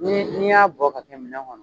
Ni n'i y'a bɔ ka kɛ minɛn kɔnɔ